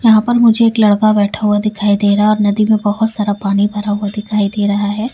यहां पर मुझे एक लड़का बैठा हुआ दिखाई दे रहा है और नदी में बहुत सारा पानी भरा हुआ दिखाई दे रहा है।